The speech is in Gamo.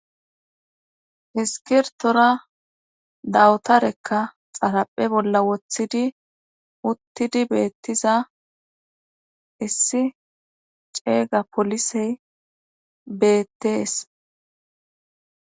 Iskkiritora dawtarekka xarphe bolla wothidi uttidi beettiza issi ceega polisey beettees.